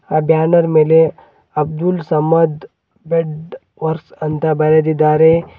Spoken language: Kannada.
ಆ ಬ್ಯಾನರ್ ಮೇಲೆ ಅಬ್ದುಲ್ ಸಮದ್ ಬೆಡ್ ವರ್ಕ್ಸ್ ಅಂತ ಬರೆದಿದ್ದಾರೆ.